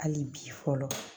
Hali bi fɔlɔ